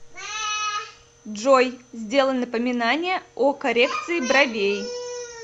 джой сделай напоминание о коррекции бровей